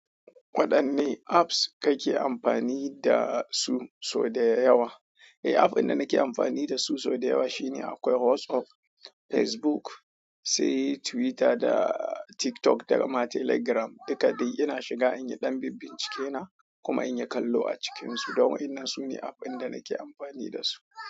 Waɗanne appa kake amfani dasu so dayawa. Eh, app ɗin da nake amfani da su so da yawa shine akwai WhatsApp, Facebook, sai Twitter da TikTok, daga ma Telegram. Duka dai yana shiga in yi ɗan binbince ke na kuma in yi kallo a cikinsu. Don waƴannan sune app ɗin da nake amfani da su.